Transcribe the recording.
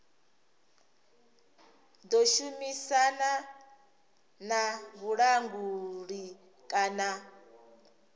ḓo shumisana na vhulanguli kana